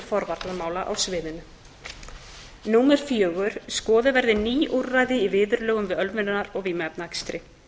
forvarnamála á sviðinu fjórða skoðuð verði ný úrræði í viðurlögum við ölvunar og vímuefnaakstri